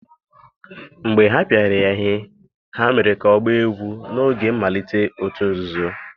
mgbe ha pịara ya ihe, ha mere ka ọ gbaa egwú n'oge mmalite òtù nzuzo.